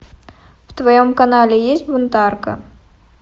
в твоем канале есть бунтарка